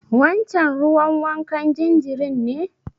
Wancen ruwan wankan jinjirin ne.